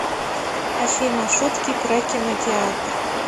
афина шутки про кинотеатр